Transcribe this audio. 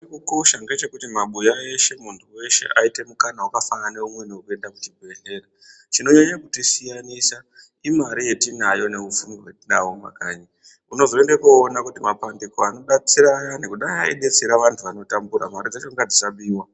...kosha ngechekuti mabuya eshe, muntu weshe aite mukana wakafanana neumweni wekuenda kuchibhedhlera. Chinonyanye kutisiyanisa imare yetinayo neupfumi hwetinahwo mumakanyi. Unozoende koona kuti mapandiko anodetsera ayani kudai adetsera vantu vanotambura. Mare dzacho ngadzisabiwa.